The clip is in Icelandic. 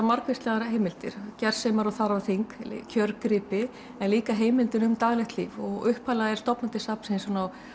margvíslegar heimildir gersemar og þarfaþing en líka heimildir um daglegt líf og upphaflega er stofnað til safnsins